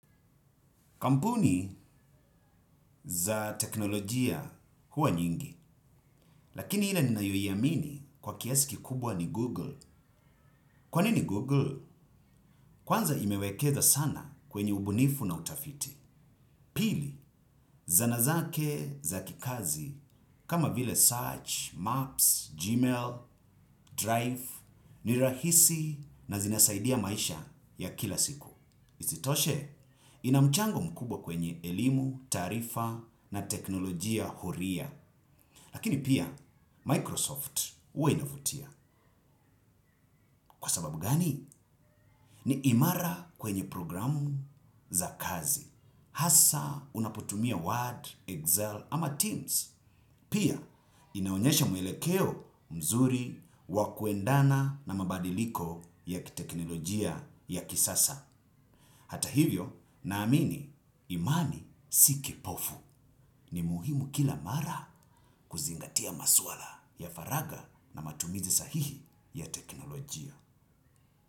Kampuni za teknolojia huwa nyingi, lakini ile ninayoiamini kwa kiasi kikubwa ni Google. Kwanini Google? Kwanza imewekeza sana kwenye ubunifu na utafiti. Pili, zana zake za kikazi kama vile search maps gmail drive ni rahisi na zinasaidia maisha ya kila siku. Isitoshe, ina mchango mkubwa kwenye elimu, taarifa na teknolojia huria. Lakini pia, Microsoft huwa inavutia. Kwa sababu gani? Ni imara kwenye programu za kazi. Hasa unaputumia Word, Excel ama Teams. Pia, inaonyesha mwelekeo mzuri wa kuendana na mabadiliko ya kiteknolojia ya kisasa. Hata hivyo naamini imani si kipofu ni muhimu kila mara kuzingatia masuala ya faraga na matumizi sahihi ya teknolojia.